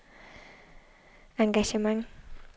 engagement